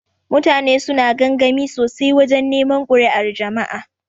Mutane suna gamgami sosai wajan neman kuri'ar jama'a.